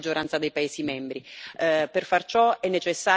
disattesi nella stragrande maggioranza dei paesi membri.